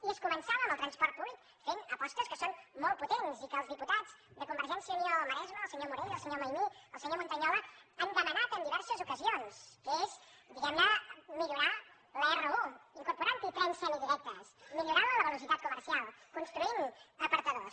i es començava amb el transport públic fent apostes que són molt potents i que els diputats de convergència i unió al maresme el senyor morell el senyor maimí el senyor montañola han demanat en diverses ocasions que és diguem ne millorar la r un incorporant hi trens semidirectes millorant ne la velocitat comercial construint apartadors